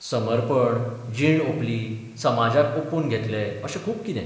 समर्पण, जीण ओपली, समाजाक ओपून घेतलें अशें खूब कितें.